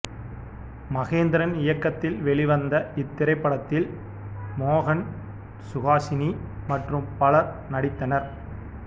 மகேந்திரன் இயக்கத்தில் வெளிவந்த இத்திரைப்படத்தில் மோகன் சுஹாசினி மற்றும் பலரும் நடித்திருந்தனர்